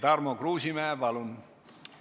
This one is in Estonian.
Tarmo Kruusimäe, palun!